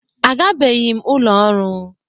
Agabeghị m ụlọ ọrụ